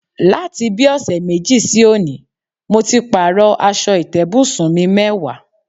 Láti bí ò̩sè̩ méjì sí òní, mo ti pààrò̩ as̩o̩ ìté̩bùsùn mi mé̩wàá.